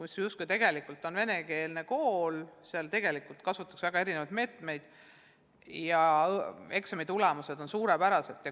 See on tegelikult venekeelne kool, aga seal kasutatakse väga erinevaid meetmeid ja eksamitulemused on suurepärased.